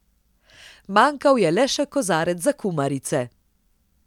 Manjkal je le še kozarec za kumarice!